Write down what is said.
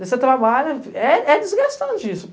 Você trabalha, é é desgastante isso.